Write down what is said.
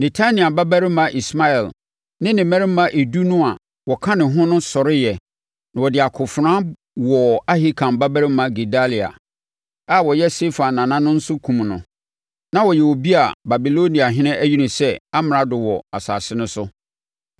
Netania babarima Ismael ne ne mmarima edu no a wɔka ne ho no sɔreeɛ na wɔde akofena wɔɔ Ahikam babarima Gedalia, a ɔyɛ Safan nana nso no kumm no. Na ɔyɛ obi a Babiloniahene ayi no sɛ amrado wɔ asase no so.